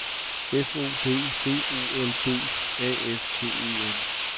F O D B O L D A F T E N